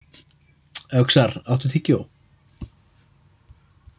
Öxar, áttu tyggjó?